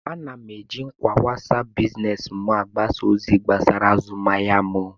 Ana m eji ngwa wasap biznes m agbasa ozi gbasara azụmahịa m